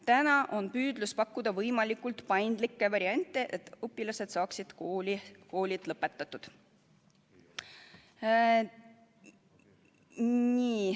Täna on püüdlus pakkuda võimalikult paindlikke variante, et õpilased saaksid koolid lõpetatud.